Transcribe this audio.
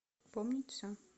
помнить все